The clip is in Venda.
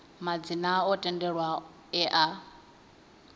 madzina o tendelwaho e a